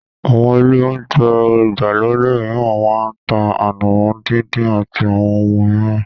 Àwọn ilé olounjẹ ìgbàlódé mìíràn máa ń tá ànàmọ́ díndín àti àwọn ohun mìíràn